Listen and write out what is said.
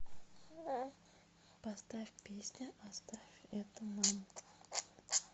поставь песня оставь это нам